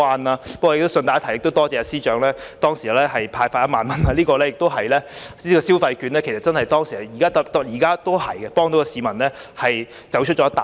不過，順帶一提，亦多謝司長當時派發1萬元，消費券其實當時真的幫助到市民走出一大步。